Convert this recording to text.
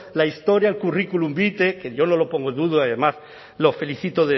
epítetos la historia el curriculum vitae que yo no lo pongo en duda además lo